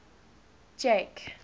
jake